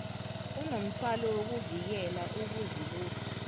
unomthwalo wokuvikela ukuzibusa